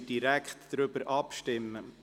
Somit kommen wir direkt zur Abstimmung.